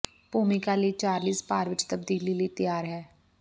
ਭੂਮਿਕਾ ਲਈ ਚਾਰਲੀਜ਼ ਭਾਰ ਵਿਚ ਤਬਦੀਲੀ ਲਈ ਤਿਆਰ ਹੈ